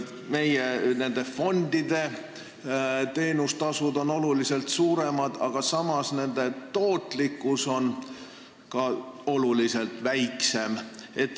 Meie fondide teenustasud on oluliselt suuremad, aga samas on nende tootlikkus palju väiksem.